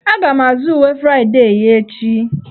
Aga m azụ uwe Fraịdee ya echi.